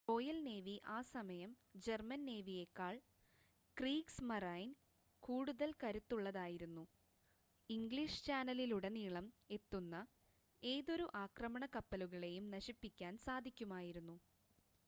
Royal navy ആ സമയം German നേവിയേക്കാൾ ക്രീഗ്‌സ്മറൈൻ” കൂടുതൽ കരുത്തുള്ളതായിരുന്നു. ഇംഗ്ലീഷ് ചാനലിലുടനീളം എത്തുന്ന ഏതൊരു ആക്രമണ കപ്പലുകളെയും നശിപ്പിക്കാൻ സാധിക്കുമായിരുന്നു